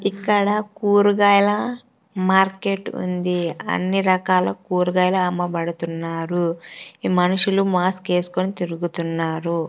ఇక్కడ కూరగాయల మార్కెట్ ఉంది అన్ని రకాల కూరగాయలు అమ్మబడుతున్నారు ఈ మనుషులు మాస్క్ ఏస్కొని తిరుగుతున్నారు.